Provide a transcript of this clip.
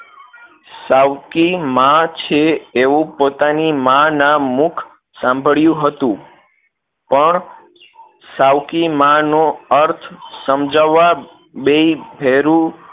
સાવકી માં છે એવું પોતાની માં ના મુખ સાંભળ્યું હતું પણ સાવકી માં નો અર્થ સમજાવા બેય ભેરુ